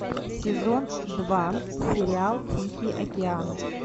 сезон два сериал тихий океан